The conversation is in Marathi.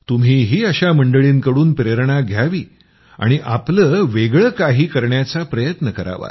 तुम्हीही अशा मंडळींकडून प्रेरणा घ्यावी आणि आपलं वेगळं काहीकरण्याचा प्रयत्न करावा